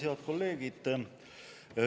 Head kolleegid!